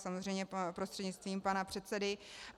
Samozřejmě prostřednictvím pana předsedy.